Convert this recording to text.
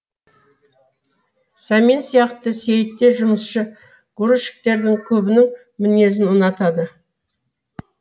сәмен сияқты сейітте жұмысшы грузчиктердің көбінің мінезін ұнатады